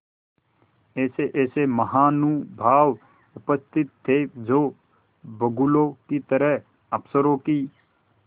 ऐसेऐसे महानुभाव उपस्थित थे जो बगुलों की तरह अफसरों की